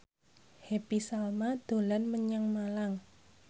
Happy Salma dolan menyang Malang